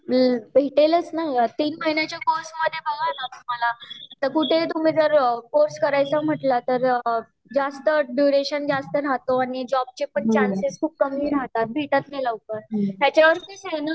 हम्म भेटेलच न ग तीन महिन्याच्या कोर्से मध्ये बघा तुम्हाला जर तुम्ही कुठेही कोर्से करायचं म्हटला तर जास्त ड्यूरेशन जास्त राहतो आणि जॉब ची पण